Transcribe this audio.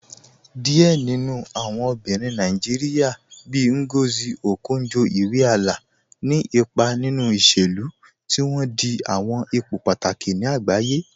Diẹ̀ nínu awọn obìnrin Nàìjíríà, bíì Ngozi Okonjo-Iweala, ní ìpà nínu ìṣẹ̀lú, tí wọn dì àwọn ìpò pátàkì ní àgbàyé.